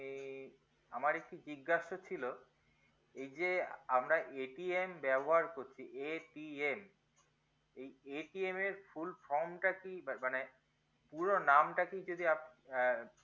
কি আমার একটু জিজ্ঞাসা ছিল এইযে আমরা ব্যবহার করছি এই এর full form টা কি মানে নামটা কি যদি আপনি